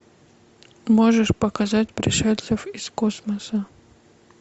можешь показать пришельцев из космоса